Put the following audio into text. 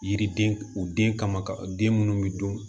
Yiriden u den kama ka den minnu bɛ dun